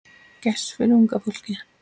Gess fyrir unga fólkið.